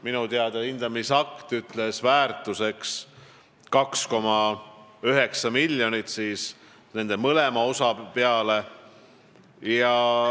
Minu teada hindamisakt ütles, et väärtus on 2,9 miljonit, mõlema osa peale.